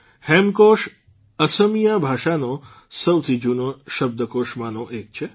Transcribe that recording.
હેમકોશ અસમિયા ભાષાના સૌથી જૂના શબ્દકોશમાંનો એક છે